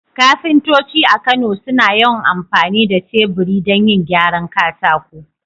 Kafintoci a Kano suna yawan amfani da teburi don yin gyaran katako.